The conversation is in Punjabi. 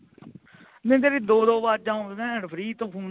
ਮੈਨੂੰ ਤੇਰੀਆ ਦੋ ਦੋ ਵਾਜ਼ਾਂ ਆਉਂਦੀਆਂ hands-free ਤੋਂ ਲਾਹ